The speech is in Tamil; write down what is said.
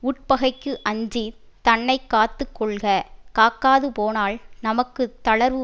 உட்பகைக்கு அஞ்சி தன்னை காத்து கொள்க காக்காது போனால் நமக்கு தளர்வு